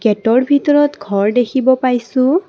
গেটৰ ভিতৰত ঘৰ দেখিব পাইছোঁ।